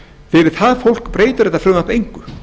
fyrir það fólk breytir þetta frumvarp engu